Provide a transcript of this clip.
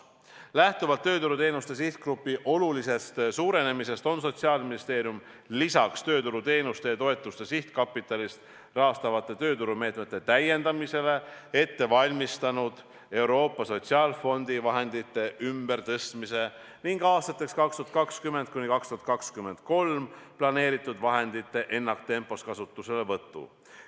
" Lähtuvalt tööturuteenuste sihtgrupi olulisest suurenemisest on Sotsiaalministeerium lisaks tööturuteenuste ja -toetuste sihtkapitalist rahastatavate tööturumeetmete täiendamisele ette valmistanud Euroopa Sotsiaalfondi vahendite ümbertõstmise ning aastateks 2020–2023 planeeritud vahendite ennaktempos kasutuselevõtu.